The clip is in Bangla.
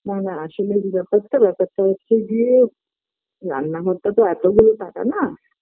না না আসলে এই ব্যাপারটা ব্যাপারটা হচ্ছে গিয়ে রান্নাঘরটা তো এতগুলো টাকা না